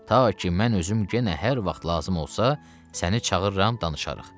Ta ki mən özüm yenə hər vaxt lazım olsa, səni çağırıram, danışarıq.